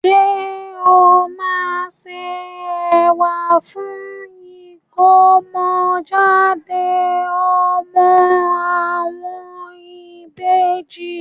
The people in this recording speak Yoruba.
Ṣé o máa se ẹ̀wà fún ìkómọ jáde ọmọ àwọn ìbejì.